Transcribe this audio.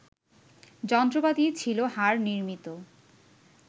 যন্ত্রপাতি ছিল হাড় নির্মিত